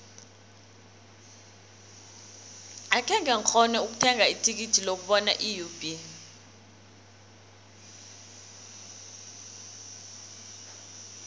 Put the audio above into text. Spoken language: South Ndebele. akhenge ngikghone ukuthenga ithikithi lokubona iub